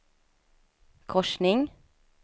korsning